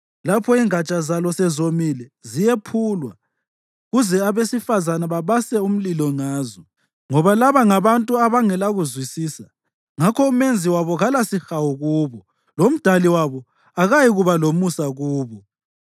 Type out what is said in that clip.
Lapho ingatsha zalo sezomile, ziyephulwa kuze abesifazane babase umlilo ngazo. Ngoba laba ngabantu abangelakuzwisisa; ngakho uMenzi wabo kalasihawu kubo, loMdali wabo akayikuba lomusa kubo.